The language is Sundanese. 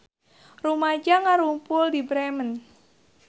Rumaja ngarumpul di Bremen